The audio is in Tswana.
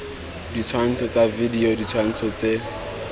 ditshwantsho tsa video ditshwantsho tse